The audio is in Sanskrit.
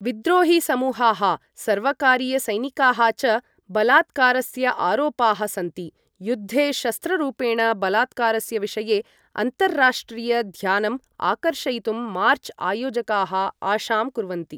विद्रोहीसमूहाः, सर्वकारीयसैनिकाः च बलात्कारस्य आरोपाः सन्ति, युद्धे शस्त्ररूपेण बलात्कारस्य विषये अन्तर्राष्ट्रीयं ध्यानं आकर्षयितुं मार्च आयोजकाः आशां कुर्वन्ति